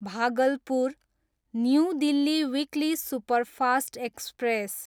Bhagalpur, new Delhi weekly superfast express